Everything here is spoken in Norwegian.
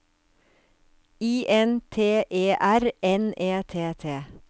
I N T E R N E T T